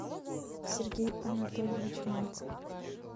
сергей анатольевич мальцев